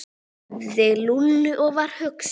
sagði Lúlli og var hugsi.